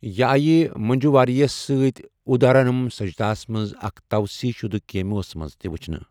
یہِ آیہِ منجو واریرَس سۭتۍ اُدھارنم سجتاہَس منٛز اکھ توسیع شدٕ کیمیوَس منٛز تہِ ؤچھنہٕ۔